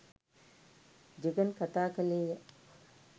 ජෙගන් කතා කළේය.